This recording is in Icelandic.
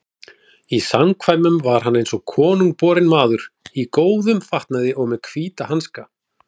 Í samkvæmum var hann eins og konungborinn maður, í góðum fatnaði og með hvíta hanska.